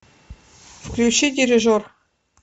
включи дирижер